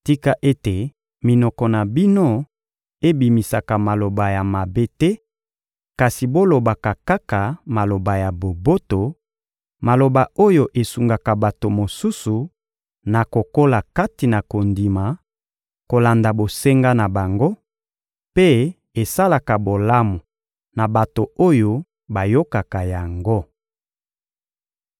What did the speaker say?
Tika ete minoko na bino ebimisaka maloba ya mabe te, kasi bolobaka kaka maloba ya boboto, maloba oyo esungaka bato mosusu na kokola kati na kondima, kolanda bosenga na bango, mpe esalaka bolamu na bato oyo bayokaka yango.